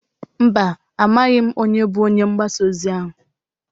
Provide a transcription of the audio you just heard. Mba, amaghị m onye bụ onye ngbasa ozi ahụ.